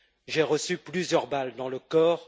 J'ai reçu plusieurs balles dans le corps.